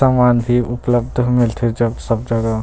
सामान भी उपलब्ध मिलथे सब जगह--